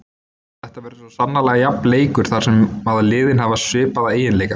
Þetta verður svo sannarlega jafn leikur þar sem að liðin hafa svipaða eiginleika.